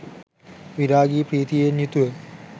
විරාගී ප්‍රීතියෙන් යුතුව